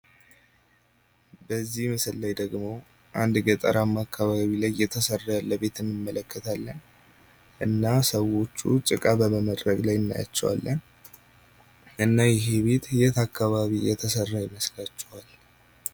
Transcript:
በዚህ ምስል ላይ ደሞ አንድ ገጠራማ አከባቢ የተሰራ ያለ ቤትን እንመለከታለን እና ሰዎቹ ጭቃ በመመረግ ላይ እናያቸዋለን። እና ይህ ቤት የት አከባቢ የተሰራ ይመስላችኋል?